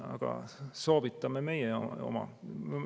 Aga soovitame meie oma.